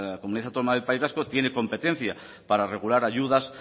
comunidad autónoma del país vasco tiene competencia para regular ayudas